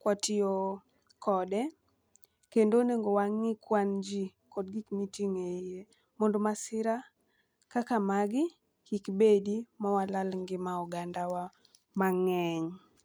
kwatiyo kode, kendo onego wang'i kwan ji kod gik miting'e iye mondo masira kaka magi kik bedi ma walal ngima ogandawa mang'eny.